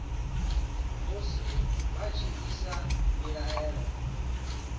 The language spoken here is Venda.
musi vha tshi isa mbilaelo